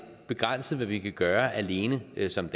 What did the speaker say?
begrænset hvad vi kan gøre alene som